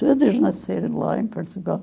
Todos nasceram lá em Portugal.